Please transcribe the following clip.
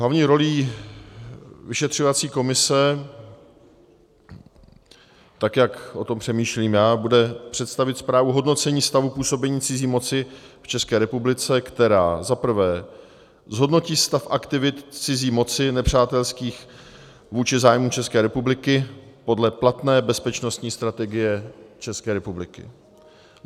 Hlavní rolí vyšetřovací komise, tak jak o tom přemýšlím já, bude představit zprávu "hodnocení stavu působení cizí moci v České republice", která za prvé zhodnotí stav aktivit cizí moci nepřátelských vůči zájmům České republiky podle platné bezpečnostní strategie České republiky;